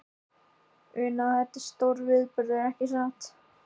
Una, þetta er stórviðburður, ekki satt?